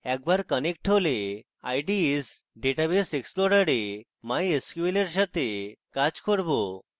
একবার connected হলে ide s database explorer mysql এর সাথে কাজ করব